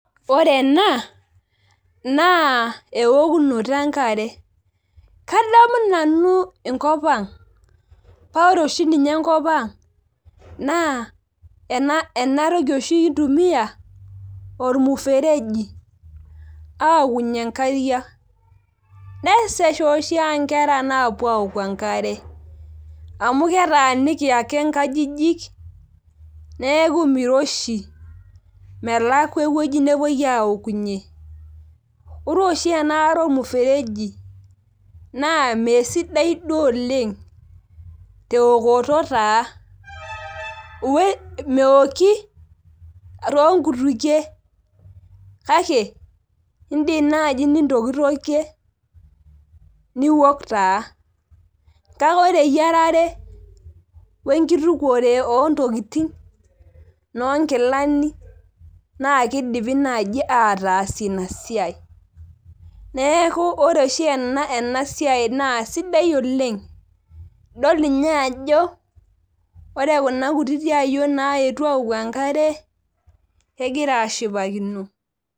ore ena naa ewokunoto enkare kadamu nanu enkop ang' paa ore oshi ninye enkopang' naa enatoki oshi kintumiya olmuferegi aawokunye inkariak, nesesha oshi aa inkera naapuo awoku enkare amu ketaa niki ake inkajijik neeku miroshi melakua eweji nepuoi aawokunye ore oshi enaare olmufereji naa misidai duu oleng' tewokoto taa mewoki too nkutukie kake idim naaji nitokitokie niwok taa, kake ore eyiarare , wengitukushore, ontokitin inoo nkilani, naa kidimi naaji atasie inasiai, neeku ore ena siai naa sidai oleng' idol ninye ajo ore kuna kutitik ayiok naayotuo awouku naa kegira ashipakino.